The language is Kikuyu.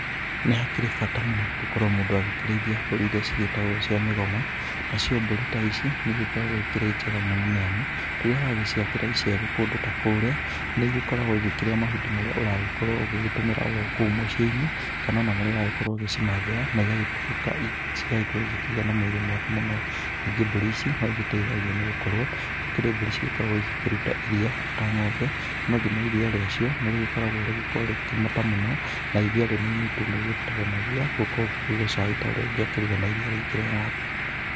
Nĩkĩharĩ bata mũno gũkorwo mũndũ agĩkĩrĩithia mbũri iria ciĩtagwo cia mĩgoma, nacio mbũri ta ici nĩigĩkoragwo ikĩrĩ njega mũno nĩamu, rĩrĩa wagĩciakĩra icegũ kũndũ ta kũrĩa, nĩigĩkoragwo igĩkĩrĩa mahuti marĩa ũragĩkorwo ũgĩgĩtũmĩra oro kũu mũci-ĩnĩ, kana ona marĩa ũrakorwo ũgĩcimathĩra na igagĩtuĩka, cigagĩkorwo igĩkĩgĩa na mwĩrĩ mwega mũno, ningĩ mbũri ici noigĩteithagia nĩgũkorwo gũkĩrĩ mbũri cigĩkoragwo igĩkĩruta iria ota ng'ombe, no thima iria rĩacio nĩrĩgĩkoragwo rĩgĩkorwo rĩgĩkĩmata mũno, na iria rĩnini tu nĩrĩbataranagia gũkorwo ũkĩruga cai ta ũrĩa ũngĩakĩruga na irĩa rĩingĩ rĩa ng'ombe.